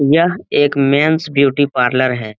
यह एक men's beauty parlour है।